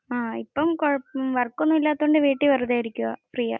ഇപ്പം കൊഴപ്പംഉം വർക്ക് ഒന്നും ഇല്ലാത്തതുകൊണ്ട് വീട്ടിൽ വെറുതെ ഇരിക്കുവാ.